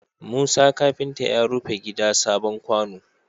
Musa kafinta ya rufe gida sabon kwano